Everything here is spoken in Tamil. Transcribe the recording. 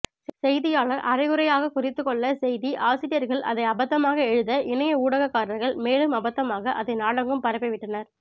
செய்தியாளர் அரைகுறையாகக் குறித்துக்கொள்ள செய்தி ஆசிரியர்கள் அதை அபத்தமாக எழுத இணைய ஊடகக்காரர்கள் மேலும் அபத்தமாக அதை நாடெங்கும் பரப்பிவிட்டனர்